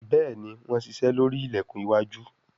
Béèni wón ṣiṣe lórí ilẹkùn iwájú.